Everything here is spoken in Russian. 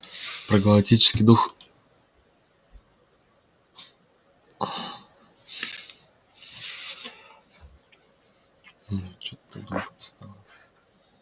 про галактический дух